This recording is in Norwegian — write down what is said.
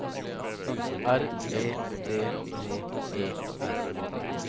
R E D D E R